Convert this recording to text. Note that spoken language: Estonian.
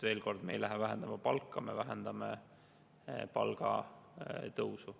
Veel kord, me ei lähe palka vähendama, me vähendame palgatõusu.